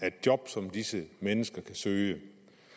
af job som disse mennesker kan søge